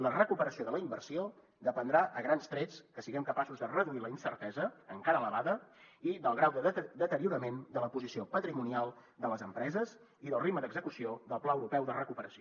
la recuperació de la inversió dependrà a grans trets que siguem capaços de reduir la incertesa encara elevada i del grau de deteriorament de la posició patrimonial de les empreses i del ritme d’execució del pla europeu de recuperació